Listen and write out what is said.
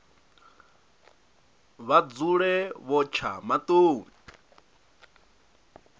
vha dzule vho tsha maṱoni